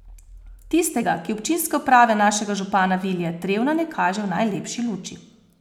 Tistega, ki občinske uprave našega župana Vilija Trevna ne kaže v najlepši luči.